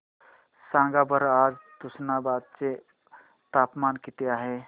सांगा बरं आज तुष्णाबाद चे तापमान किती आहे